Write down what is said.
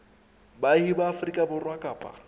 baahi ba afrika borwa kapa